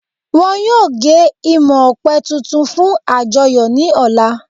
Wọn yóò gé imọ̀ ọ̀pẹ̀ tuntun fun àjọyọ̀ ni ọ̀la